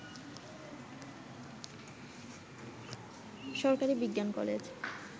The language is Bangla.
সরকারী বিজ্ঞান কলেজ